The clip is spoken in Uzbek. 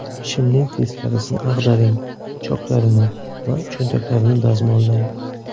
Shimning teskarisini ag‘daring, choklarini va cho‘ntaklarini dazmollang.